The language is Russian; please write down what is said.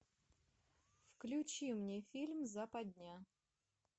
включи мне фильм западня